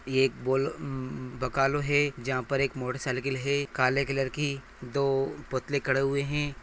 यह एक बोल म-म-म भकालो है जहा पे एक मोटरसाइकिल है काले कलर कि दो पुतले कड़े हुए है।